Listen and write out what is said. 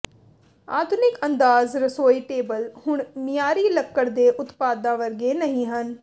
ਆਧੁਨਿਕ ਅੰਦਾਜ਼ ਰਸੋਈ ਟੇਬਲ ਹੁਣ ਮਿਆਰੀ ਲੱਕੜ ਦੇ ਉਤਪਾਦਾਂ ਵਰਗੇ ਨਹੀਂ ਹਨ